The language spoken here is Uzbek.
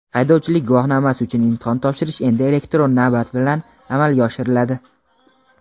Haydovchilik guvohnomasi uchun imtihon topshirish endi elektron navbat bilan amalga oshiriladi.